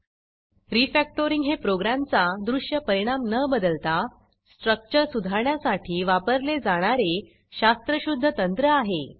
Refactoringरीफॅक्टरिंग हे प्रोग्रॅमचा दृश्य परिणाम न बदलता स्ट्रक्चर सुधारण्यासाठी वापरले जाणारे शास्त्रशुध्द तंत्र आहे